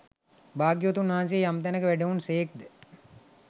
භාග්‍යවතුන් වහන්සේ යම් තැනක වැඩහුන් සේක් ද